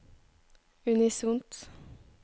unisont